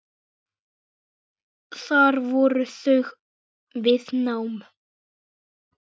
Þar voru þau við nám.